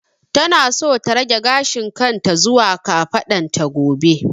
Tana so ta rage gashin kan ta zuwa kafadan ta gobe